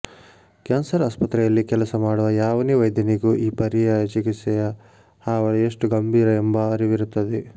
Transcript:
cancer ಆಸ್ಪತ್ರೆಯಲ್ಲಿ ಕೆಲಸ ಮಾಡುವ ಯಾವನೇ ವೈದ್ಯನಿಗೂ ಈ ಪರ್ಯಾಯ ಚಿಕಿತ್ಸೆಯ ಹಾವಳಿ ಎಷ್ಟು ಗಂಭೀರ ಎಂಬ ಅರಿವಿರುತ್ತದೆ